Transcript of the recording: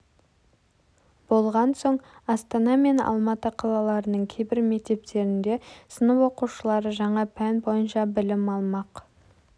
болған соң астана мен алматы қалаларының кейбір мектептерінде сынып оқушылары жаңа пән бойынша білім алмақ